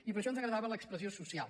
i per això ens agradava l’expressió social